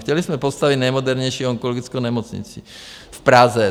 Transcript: Chtěli jsme postavit nejmodernější onkologickou nemocnici v Praze.